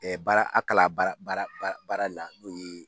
baara a kala baara baara baara baara le la n'o ye